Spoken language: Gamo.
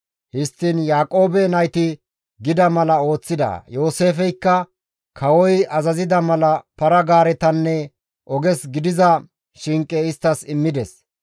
Histtiin Yaaqoobe nayti gida mala ooththida. Yooseefeykka kawoy azazida mala para-gaaretanne oges gidiza shinqe isttas immides.